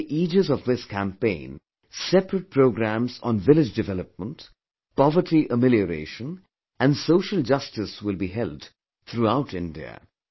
Under the aegis of this campaign, separate programmes on village development, poverty amelioration and social justice will be held throughout India